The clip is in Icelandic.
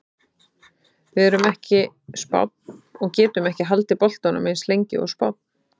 Við erum ekki Spánn og getum ekki haldið boltanum eins lengi og Spánn.